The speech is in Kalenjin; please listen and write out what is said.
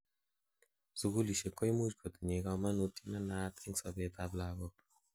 sugulishek koimuch kotinyei komanutiet nenaat en sobet ab lagok